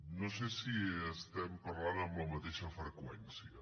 no sé si estem parlant en la mateixa freqüència